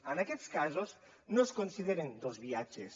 en aquests casos no es consideren dos viatges